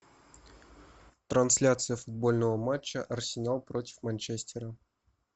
трансляция футбольного матча арсенал против манчестера